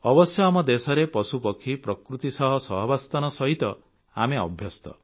ଅବଶ୍ୟ ଆମ ଦେଶରେ ପଶୁପକ୍ଷୀ ପ୍ରକୃତି ସହ ସହାବସ୍ଥାନ ସହିତ ଆମେ ଅଭ୍ୟସ୍ତ